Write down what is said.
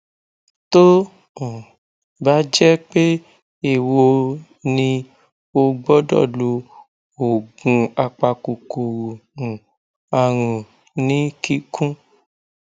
tó um bá jẹ pé eéwo ni ó gbọdọ lo oògùn apakòkòrò um àrùn ní kíkún